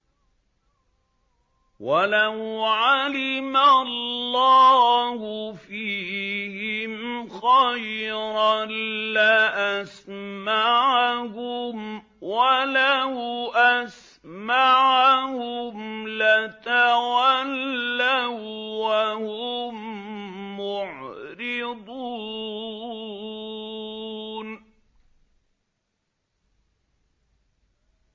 وَلَوْ عَلِمَ اللَّهُ فِيهِمْ خَيْرًا لَّأَسْمَعَهُمْ ۖ وَلَوْ أَسْمَعَهُمْ لَتَوَلَّوا وَّهُم مُّعْرِضُونَ